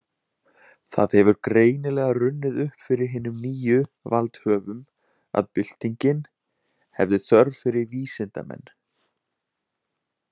Það hefur greinilega runnið upp fyrir hinum nýju valdhöfum, að byltingin hefði þörf fyrir vísindamenn.